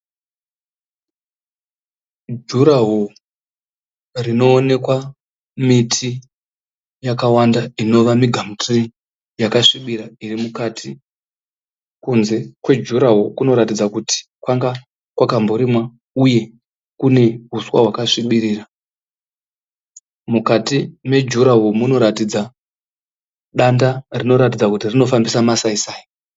Juraho rinoonekwa miti yakawanda inova migamuturii. Yakasvibira irimukati. Kunze kwejuraho kunoratidza kuti kwanga kwakamborimwa uye kune huswa hwakasvibirira. Mukati mejuraho munoratidza danda rinoratidza kuti rinofambisa masai sai.